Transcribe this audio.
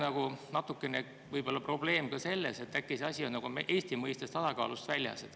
Kas probleem ei või olla selles, et äkki on see asi Eesti mõistes tasakaalust väljas?